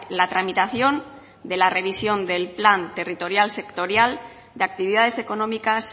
la tramitación de la revisión del plan territorial sectorial de actividades económicas